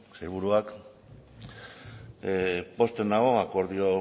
sailburuak pozten nau akordio